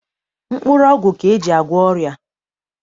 Mkpụrụọgwụ ka e ji agwọ ọrịa.